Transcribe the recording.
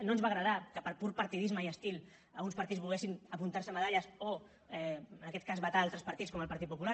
no ens va agradar que per pur partidisme i estil alguns partits volguessin apuntar se medalles o en aquest cas vetar altres partits com el partit popular